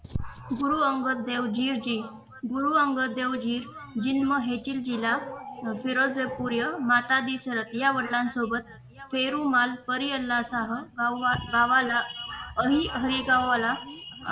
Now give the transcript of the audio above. गुरु अंगद देवजी गुरु अंगद देव जी जिन्म हेतील जिल्हा पिळजपुरिया मातादी शरद या वडिलांसोबत पेरूमाल परिहल्लासह गावाला हरीहरी गावाला